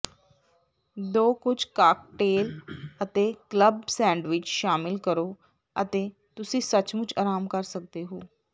ਦੋ ਕੁੱਝ ਕਾਕਟੇਲ ਅਤੇ ਕਲੱਬ ਸੈਂਡਵਿਚ ਸ਼ਾਮਲ ਕਰੋ ਅਤੇ ਤੁਸੀਂ ਸੱਚਮੁੱਚ ਆਰਾਮ ਕਰ ਸਕਦੇ ਹੋ